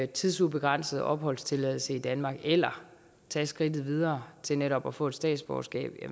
tidsubegrænset opholdstilladelse i danmark eller tage skridtet videre til netop at få et statsborgerskab